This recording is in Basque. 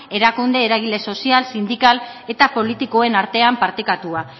erakunde eraile sozial sindikal eta politikoen artean partekatua